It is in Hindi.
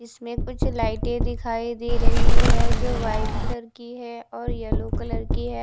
इसमें कुछ लाइटे दिखाई दे रही है जो व्हाइट कलर की है और येलो कलर की है।